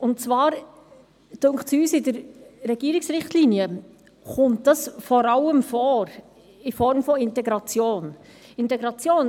Es scheint uns, dass diese in den Richtlinien vor allem in Form der Integration erwähnt wird.